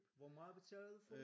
Hvor meget betaler du for?